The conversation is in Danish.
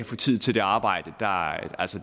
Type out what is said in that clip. få tid til det arbejde